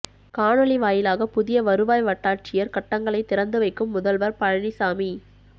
காணொலி வாயிலாக புதிய வருவாய் வட்டாட்சியர் கட்டங்களைத் திறந்துவைக்கும் முதல்வர் பழனிசாமி